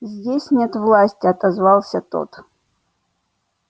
здесь нет власти отозвался тот